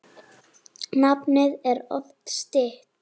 Nafnið er oft stytt.